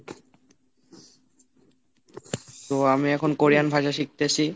তো আমি এখন কোরিয়ান ভাষা শিখতেছি।